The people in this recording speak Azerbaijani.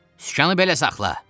Sükanı belə saxla!